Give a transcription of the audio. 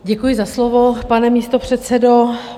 Děkuji za slovo, pane místopředsedo.